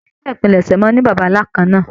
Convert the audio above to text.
Ìdílé ìpilẹ̀ṣẹ̀ máa n ní bàbá nlá kànnà.